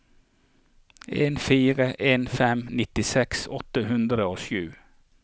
en fire en fem nittiseks åtte hundre og sju